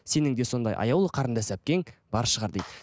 сенің де сондай аяулы қарындас әпкең бар шығар дейді